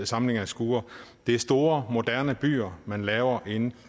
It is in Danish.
samling af skure det er store moderne byer man lavere inde